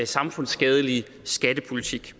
samfundsskadelige skattepolitik